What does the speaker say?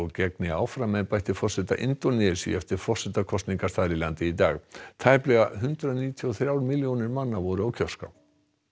gegni áfram embætti forseta Indónesíu eftir forsetakosningar þar í landi í dag tæplega hundrað níutíu og þrjár milljónir voru á kjörskrá